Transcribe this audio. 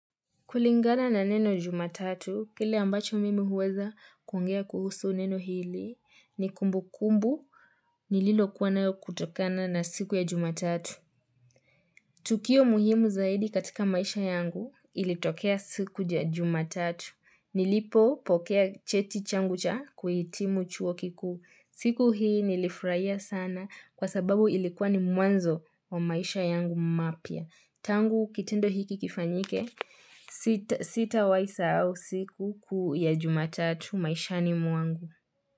Kulingana na neno jumatatu, kile ambacho mimi huweza kuongea kuhusu neno hili ni kumbukumbu nililokua nao kutokana na siku ya jumatatu. Tukio muhimu zaidi katika maisha yangu ilitokea siku ya jumatatu. Nilipopokea cheti changu cha kuhitimu chuo kikuu. Siku hii nilifurahia sana kwa sababu ilikuwa ni mwanzo wa maisha yangu mapya. Tangu kitendo hiki kifanyike, sitawahi sahau siku kuu ya jumatatu maishani mwangu.